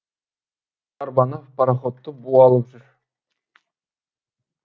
арбаны пароходты бу алып жүр